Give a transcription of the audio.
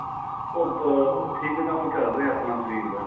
ਉਹ ਅਹ ਠੀਕ ਕੰਮ ਚੱਲ ਰਿਹਾ ਆਪਣਾ ਸ਼ਰੀਰ ਦਾ